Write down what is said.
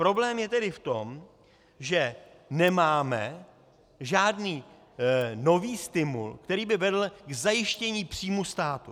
Problém je tedy v tom, že nemáme žádný nový stimul, který by vedl k zajištění příjmů státu.